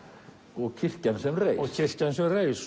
og kirkjan sem reis og kirkjan sem reis